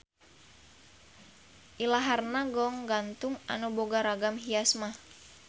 Ilaharna goong gantung anu boga ragam hias mah.